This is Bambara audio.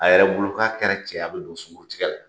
A yɛrɛ bolo k'a kɛra cɛ ye, a bi don sunguru tigɛ la.